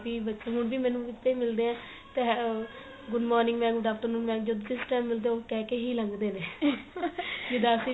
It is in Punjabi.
ਵੀ ਬੱਚੇ ਹੁਣ ਵੀ ਮੈਨੂੰ ਬੱਚੇ ਮਿਲਦੇ ਏ ਪੈ ਆ good morning mam good afternoon mam ਜਦੋ ਜਿਸ time ਮਿਲਦੇ ਏ ਉਹ ਕਹਿ ਕੇ ਹੀ ਲੰਗਦੇ ਨੇ ਵੀ ਦੱਸ ਹੀ ਰਹੀ